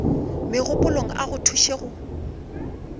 mogopolong a go thuše go